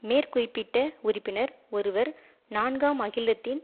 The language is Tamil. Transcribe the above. மேற்குறிப்பிட்ட உறுப்பினர் ஒருவர் நான்காம் அகிலத்தின்